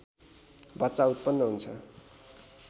बच्चा उत्पन्न हुन्छ